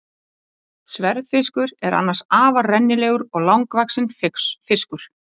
Sverðfiskur er annars afar rennilegur og langvaxinn fiskur.